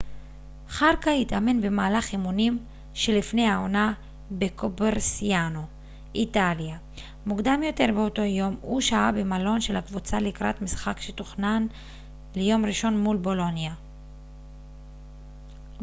חארקה התאמן במהלך אימונים שלפני העונה בקוברסיאנו איטליה מוקדם יותר באותו יום הוא שהה במלון של הקבוצה לקראת משחק שתוכנן ליום ראשון מול בולוניה